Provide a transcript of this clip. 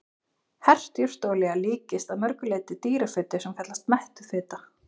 Hert jurtaolía líkist að mörgu leyti dýrafitu sem kallast mettuð fita.